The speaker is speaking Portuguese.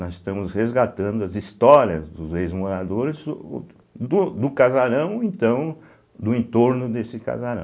Nós estamos resgatando as histórias dos ex-moradores o do casarão, então, do entorno desse casarão.